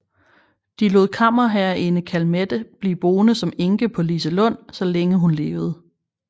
De lod kammerherreinde Calmette blive boende som enke på Liselund så længe hun levede